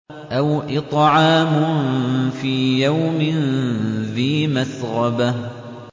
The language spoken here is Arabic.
أَوْ إِطْعَامٌ فِي يَوْمٍ ذِي مَسْغَبَةٍ